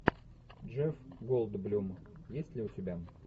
джефф голдблюм есть ли у тебя